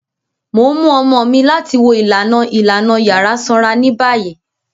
Mo n mu ọmọ mi lati wo ilana ilana yara sanra ni bayi.